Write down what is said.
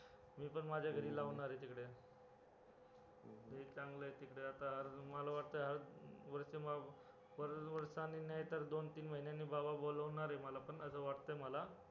मी पण माझ्या घरी लावणार आहे तिकडे लय चांगलंय तिकडे आता मला वाटतंय वर्ष, वर्षांनी नाहीतर दोन तीन महिन्यांनी बाबा बोलावणार मला असं वाटतंय मला